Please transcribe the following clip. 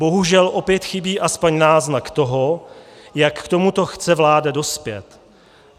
Bohužel opět chybí aspoň náznak toho, jak k tomuto chce vláda dospět.